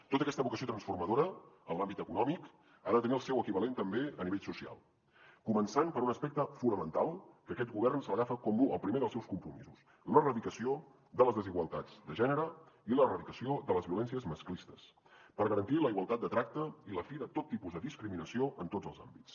tota aquesta vocació transformadora en l’àmbit econòmic ha de tenir el seu equivalent també a nivell social començant per un aspecte fonamental que aquest govern se l’agafa com el primer dels seus compromisos l’erradicació de les desigualtats de gènere i l’erradicació de les violències masclistes per garantir la igualtat de tracte i la fi de tot tipus de discriminació en tots els àmbits